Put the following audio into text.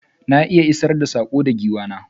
Na iya isar da sako ga giwa na.